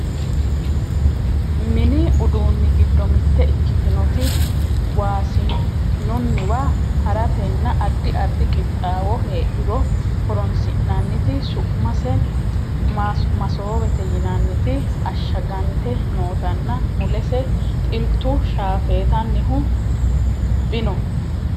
mini uduunni giddo mitte ikkitinoti wosinunniwa haratenna addi addi qixxaawo heedhuro horonsi'nanniti su'mase masoowete yinanniti ashshagante nootanna mulese xiltu shafeetannihu bno